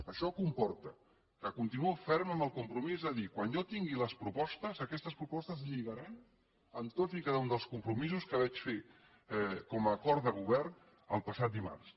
això comporta que continuo ferm amb el compromís de dir quan jo tingui les propostes aquestes propostes lligaran amb tots i cada un dels compromisos que vaig fer com a acord de govern el passat dimarts